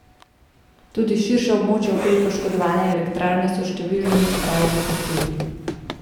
Tudi širše območje okoli poškodovane elektrarne so številni raje zapustili.